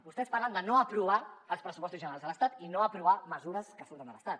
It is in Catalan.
vostès parlen de no aprovar els pressupostos generals de l’estat i no aprovar mesures que surten de l’estat